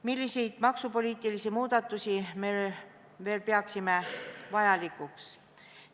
Milliseid maksupoliitilisi muudatusi me veel peame vajalikuks?